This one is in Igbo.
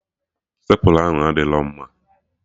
Stepla ahụ adịrọ mma